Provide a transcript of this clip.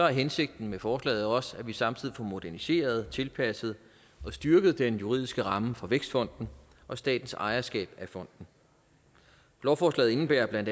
hensigten med forslaget også at vi samtidig får moderniseret tilpasset og styrket den juridiske ramme for vækstfonden og statens ejerskab af fonden lovforslaget indebærer bla at